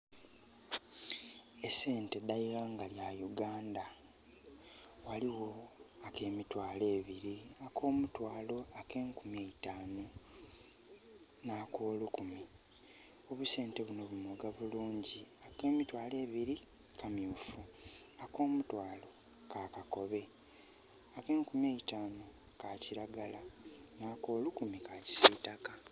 Esente dh'eighanga lya Uganda. Ghaligho ak'emitwalo ebiri, ak'omutwalo, ak'enkumi eitanu nh'akolukumi. Obusente bunho bu moga bulungi, ak'emitwalo ebiri kamyufu, ak'omutwalo ka kakobe, ak'enkumi eitanu ka kiragala n'akolukumi ka kisitaka.